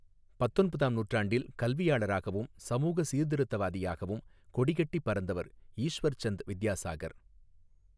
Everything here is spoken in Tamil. பத்தொன்பதாம் நூற்றாண்டில் கல்வியாளராகவும் சமூக சீர்திருத்தவாதியாகவும் கொடிகட்டி பறந்தவர் ஈஸ்வர் சந்த் வித்யாசாகர்.